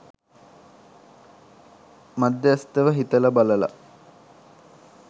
මධ්‍යස්ථව හිතල බලල